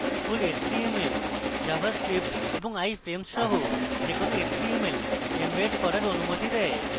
full html javascript এবং iframes সহ যে কোনো html embed করার অনুমতি দেয়